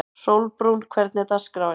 Sólbrún, hvernig er dagskráin?